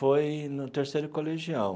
Foi no terceiro colegial.